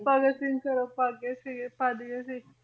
College ਤੋਂ ਹੀ ਫਿਰ ਉਹ ਭੱਜ ਗਏ ਸੀਗੇ ਭੱਜ ਗਏ ਸੀ,